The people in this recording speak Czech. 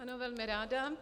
Ano, velmi ráda.